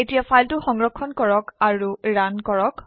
এতিয়া ফাইলটো সংৰক্ষণ কৰক আৰু ৰান কৰক